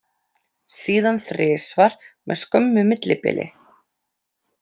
Síðan þrisvar með skömmu millibili.